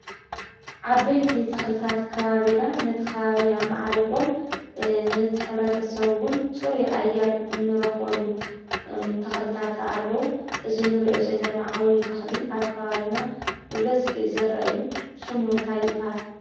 ዓበይቲ ተኽልታት ከባቢና ነቲ ኸባቢና ኣማዕሪጎም ነቲ ሕብረተሰብ እውን ፅሩይ ኣየር እንረኽበሉ ተኽልታታ ኣለዉ:: እዚ እንሪኦ ዘለና ዓብይ ተኽሊ ኣብ ከባቢና ብበዝሒ ዝርአ እዩ:: ስሙ እንታይ ይበሃል?